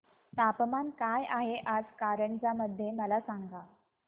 तापमान काय आहे आज कारंजा मध्ये मला सांगा